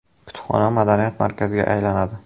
Kutubxona madaniyat markaziga aylanadi.